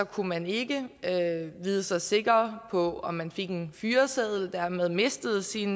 kunne man ikke vide sig sikker på om man fik en fyreseddel og dermed mistede sit